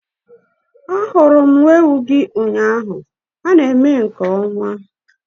Ahurum nwa-ewu-gi ụnyaahụ ha na-eme nke ọma